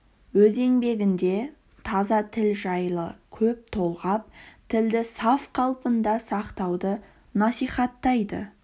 өз еңбегінде таза тіл жайлы көп толғап тілді саф қалпында сақтауды насихаттайды